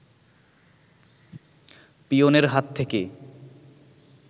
পিয়নের হাত থেকে